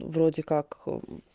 вроде как